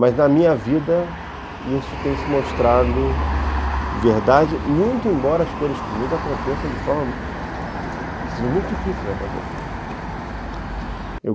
Mas na minha vida isso tem se mostrado verdade, muito embora as coisas comigo aconteçam de forma muito difícil de acontecer.